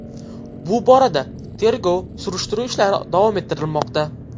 Bu borada tergov-surishtiruv ishlari davom ettirilmoqda.